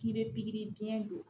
K'i bɛ pikiri biyɛn don